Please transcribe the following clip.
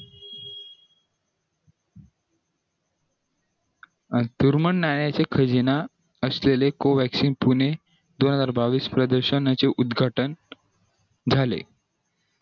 खजिना australia Covaxin Pune दोन हजार बावीस प्रदर्शनाचे उत्तघाटन झाले